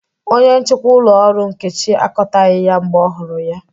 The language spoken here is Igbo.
Onye nchịkwa ụlọ ọrụ Nkechi akọtaghị ya mgbe ọ hụrụ ya